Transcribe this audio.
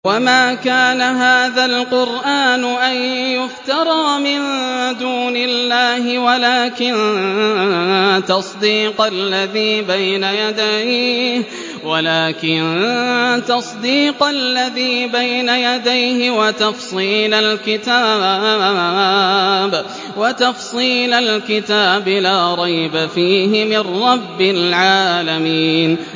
وَمَا كَانَ هَٰذَا الْقُرْآنُ أَن يُفْتَرَىٰ مِن دُونِ اللَّهِ وَلَٰكِن تَصْدِيقَ الَّذِي بَيْنَ يَدَيْهِ وَتَفْصِيلَ الْكِتَابِ لَا رَيْبَ فِيهِ مِن رَّبِّ الْعَالَمِينَ